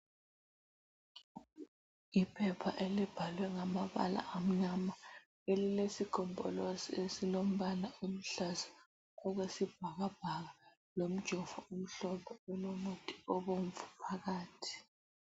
Iphepha elibhalwe ngamabala amnyama elilesigombolozi esilombala oluhlaza okwesibhakabhaka lomjovo omhlophe ulomuthi obomvu phakathi.